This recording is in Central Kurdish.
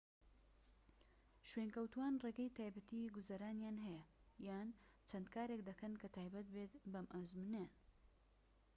شوێنکەوتووان ڕێگەی تایبەتیی گوزەرانیان هەیە یان چەند کارێك دەکەن کە تایبەت بێت بەم ئەزموونانەیان